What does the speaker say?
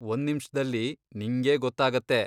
ಒಂದ್ನಿಮ್ಷ್ದಲ್ಲಿ ನಿಂಗೇ ಗೊತ್ತಾಗತ್ತೆ.